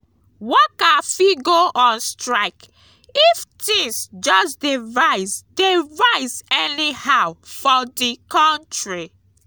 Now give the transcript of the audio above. worker fit go on strike, if things just de rise de rise anyhow for di country